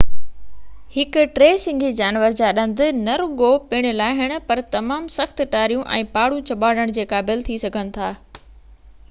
هڪ ٽي سنگهي جانور جا ڏند نه رڳو پڻ لاهڻ پر تمام سخت ٽاريون ۽ پاڙون ڄٻاڙڻڻ جي قابل ٿي سگهن ٿا